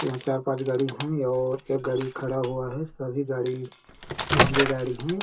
यहाँ चार पाँच गाड़ी है और एक गाड़ी खड़ा हुआ है सभी भी गाड़ी महँगे गाड़ी है।